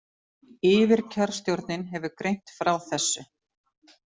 Yfirkjörstjórnin hefur greint frá þessu